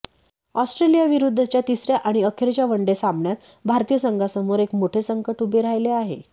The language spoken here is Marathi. ऑस्ट्रेलियाविरुद्धच्या तिसऱ्या आणि अखेरच्या वनडे सामन्यात भारतीय संघासमोर एक मोठे संकट उभे राहिले आहे